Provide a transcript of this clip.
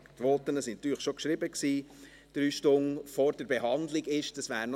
Wir hatten jetzt länger Zeit, aber die Voten waren natürlich schon geschrieben.